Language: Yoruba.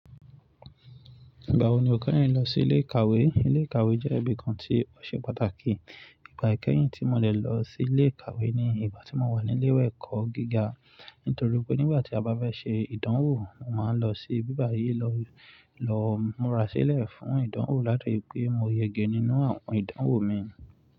Ìgbà wo ni o keyin lọ si ile ikawe. Ilé ìkàwé jẹ́ ibi kan tí ó ṣe pàtàkì. Ìgbà ìkẹ́yìn tí mo lè lọ sí ilé ìkàwé ni ìgbà tí mo wà ní ilé ìwé ẹ̀kọ́ gíga. Nítorí pé nígbà tí a bá fẹ́ ṣe ìdánwò, mo máa ń lọ sí ibí bàyìí lọ, lọ múra sílẹ̀ fún ìdánwò láti lè pé mo yege nínú àwọn ìdánwò mi.